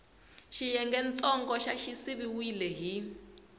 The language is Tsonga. xiyengentsongo xa xi siviwile hi